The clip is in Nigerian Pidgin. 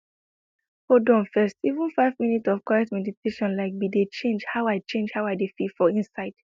hold on first even five minutes of quiet meditation like be dey change how i change how i dey feel for inside